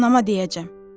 Anama deyəcəm.